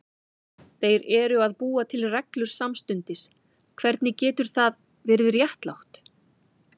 Þeir eru að búa til reglur samstundis, hvernig getur það verið réttlátt?